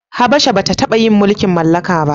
Habasha ba ta taba yin mulkin mallaka ba